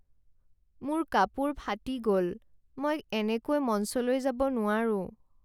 মোৰ কাপোৰ ফাটি গ'ল। মই এনেকৈ মঞ্চলৈ যাব নোৱাৰোঁ।